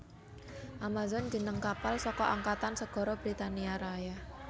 Amazon jeneng kapal saka Angkatan Segara Britania Raya